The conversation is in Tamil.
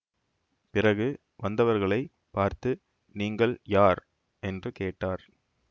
பிறகு வந்தவர்களைப் பார்த்து நீங்கள் யார் என்று கேட்டார்